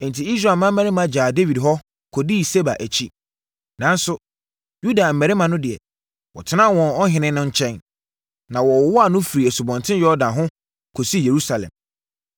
Enti, Israel mmarima gyaa Dawid hɔ, kɔdii Seba akyi. Nanso, Yuda mmarima no deɛ, wɔtenaa wɔn ɔhene nkyɛn, na wɔwowaa no firi Asubɔnten Yordan ho, kɔsii Yerusalem.